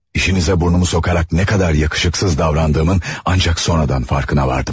İşinizə burnumu soxaraq nə qədər yakışıqsız davrandığımın ancaq sonradan farkına vardım.